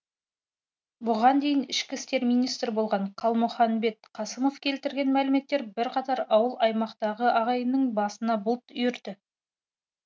бұған дейін ішкі істер министрі болған қалмұханбет қасымов келтірген мәліметтер бірқатар ауыл аймақтағы ағайынның басына бұлт үйірді